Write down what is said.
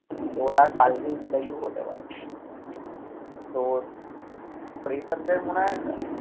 তো ওটা কালকেই interview হতে পারে। তোর fresher দের মনে হয়